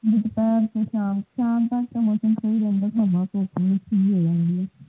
ਇੱਕ ਤੇ ਸ਼ਾਮ ਸ਼ਾਮ ਤੱਕ ਮੌਸਮ ਸਹੀ ਰਹਿੰਦਾ ਹੈ ਫਿਰ ਹੁੰਮਸ ਹੋ ਜਾਂਦੀ ਹੈ